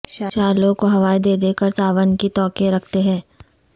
شعلوں کو ہوائیں دے دے کر ساون کی توقع رکھتے ہیں